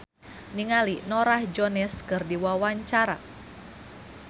Ernest Prakasa olohok ningali Norah Jones keur diwawancara